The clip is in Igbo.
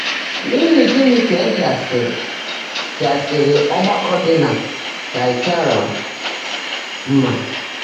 N'ihi gịnị ka e jasịrị jasịrị ọgbakọ dị na Taịataịra mma?